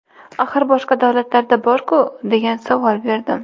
Axir boshqa davlatlarda bor-ku!” deb savol berdim.